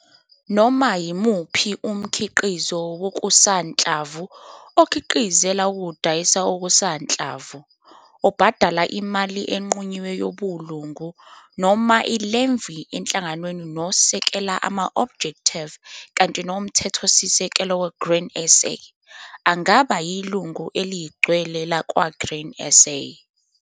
Noma yimuphi umkhiqizi wokusanhlamvu, okhiqizela ukudayisa okusanhlamvu, obhadala imali enqunyiwe yobulungu noma i-levy enhlanganweni nosekela ama-objective kante noMthethosisekelo weGrain SA, angaba yilungu eligcwele lakwa-Grain SA.